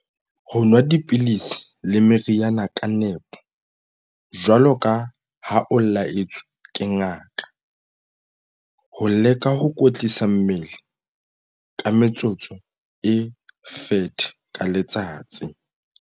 Ho nwa dipidisi le meriana ka nepo, jwaloka ha o la-etswe ke ngaka. Ho leka ho kwetlisa mmele ka metsotso e 30 ka letsatsi.